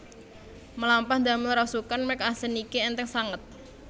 Mlampah ndamel rasukan merk Accent niki entheng sanget